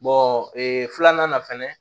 ee filanan na fɛnɛ